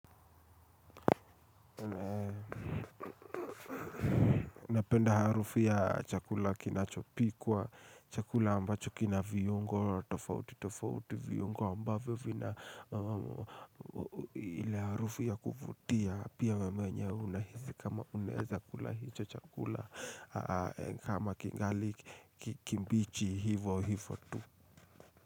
Napenda harufi ya chakula kinachopikwa, chakula ambacho kina viungo, tofauti tofauti viungo ambavyo vina ile harufu ya kuvutia pia vyenye una hisi kama unwza kula hicho chakula, kama kingali kimbichi hivo hivo tu.